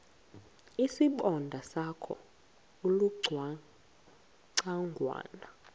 isibonda sakho ulucangwana